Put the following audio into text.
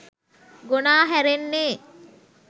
ගොනා හැරෙන්නේ